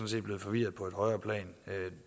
set blevet forvirret på et højere plan